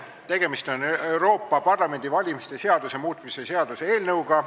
Tegemist on Euroopa Parlamendi valimise seaduse muutmise seaduse eelnõuga.